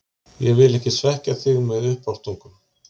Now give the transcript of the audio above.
Ég vil ekki svekkja þig með uppástungum.